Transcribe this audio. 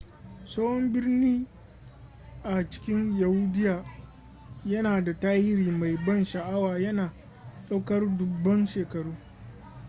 tsohon birni a cikin yahudiya yana da tarihi mai ban sha'awa yana ɗaukar dubban shekaru